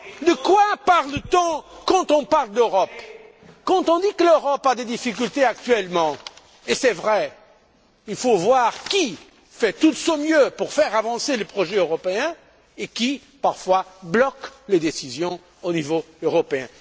De quoi parle t on quand on parle d'Europe? Quand on dit que l'Europe a des difficultés actuellement ce qui est vrai il faut voir qui fait de son mieux pour faire avancer les projets européens et qui bloque parfois les décisions au niveau européen.